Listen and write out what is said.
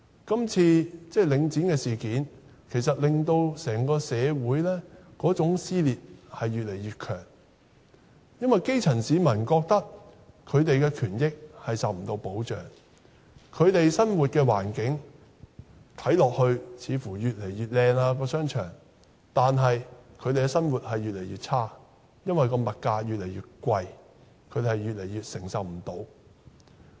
今次領展的事件，令整個社會的撕裂越來越嚴重，因為基層市民覺得他們的權益不受保障，在他們生活的環境中的商場看似越來越美觀，但他們的生活卻越來越差，因為物價越來越貴，他們也越來越無法承受。